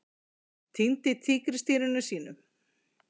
Týndi tígrisdýrinu sínu